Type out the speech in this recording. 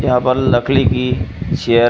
यहाँ पर लकली की चेयर --